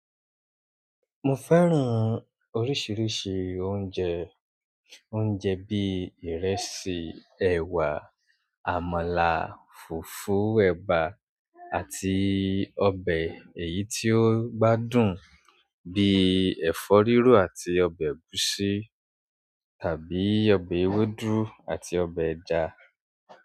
Mo fẹ́ran oríṣiríṣi oúnjẹ, oúnjẹ bíi ìrẹsì, ẹwà, àmàlà, fùfú, ẹ̀bà àti ọbẹ̀ èyí tí ó gbádùn bíi ẹ̀fọ́ rírò àti ọbẹ̀ ẹ̀gúsí tàbí ọbẹ̀ ewédú àti ọbẹ̀ ẹja.